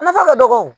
Nafa ka dɔgɔ